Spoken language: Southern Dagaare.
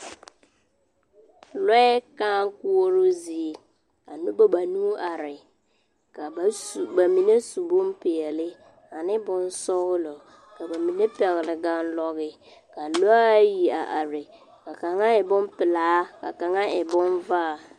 lɔɛ kãã koɔroo zie ka noba banuu are. Ka ba su, ka ba mine su bompeɛle ane bonsɔgelɔ, ka bamine pɛgele ganlɔge ka lɔ1 ayi a are ka kaŋa e bompelaa, ka kaŋa e bonvaa.